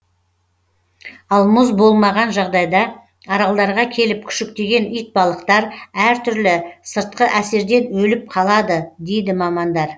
ал мұз болмаған жағдайда аралдарға келіп күшіктеген итбалықтар әртүрлі сыртқы әсерден өліп қалады дейді мамандар